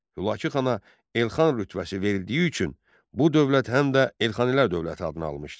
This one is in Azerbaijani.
Hülakü xana Elxan rütbəsi verildiyi üçün bu dövlət həm də Elxanilər dövləti adını almışdı.